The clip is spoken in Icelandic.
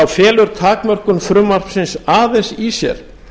felur takmörkun frumvarpsins aðeins í sér